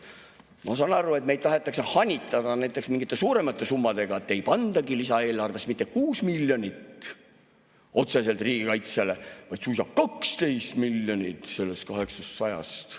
Ma saan aru, et meid tahetakse hanitada mingite suuremate summadega, et ei pandagi lisaeelarves mitte 6 miljonit otseselt riigikaitsele, vaid suisa 12 miljonit sellest 800 miljonist.